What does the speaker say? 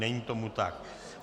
Není tomu tak.